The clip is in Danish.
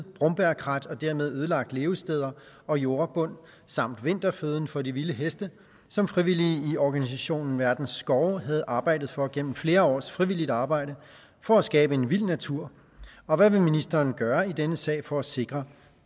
brombærkrat og dermed ødelagt levesteder og jordbund samt vinterføden for de vilde heste som frivillige i organisationen verdens skove havde arbejdet for gennem flere års frivilligt arbejde for at skabe en vild natur og hvad vil ministeren gøre i denne sag for at sikre